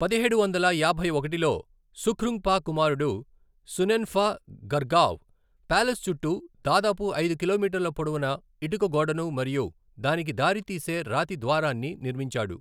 పదిహేడు వందల యాభై ఒకటిలో సుఖ్రుంగ్ఫా కుమారుడు సునెన్ఫా గర్గావ్ ప్యాలెస్ చుట్టూ దాదాపు ఐదు కిలోమీటర్ల పొడవున ఇటుక గోడను మరియు దానికి దారితీసే రాతి ద్వారాన్ని నిర్మించాడు.